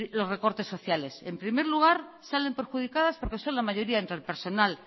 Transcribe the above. los recortes sociales en primer lugar salen perjudicadas porque son la mayoría entre el personal